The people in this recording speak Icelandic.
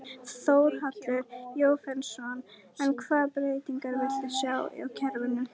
Þórhallur Jósefsson: En hvaða breytingar viltu sjá á kerfinu?